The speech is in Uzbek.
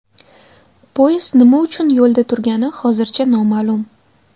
Poyezd nima uchun yo‘lda turgani hozircha noma’lum.